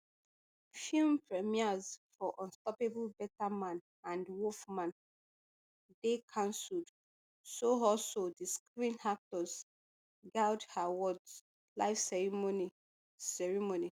film premieres for unstoppable better man and wolfman dey cancelled so also di screen actors guild awards live ceremony ceremony